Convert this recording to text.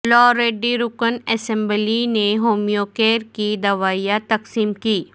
یلاریڈی رکن اسمبلی نے ہومیو کیر کی دوائیں تقسیم کیں